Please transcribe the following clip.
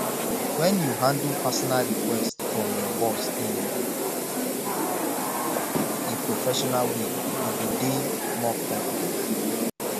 when you handle personal request from your boss in a professional way you go dey more confident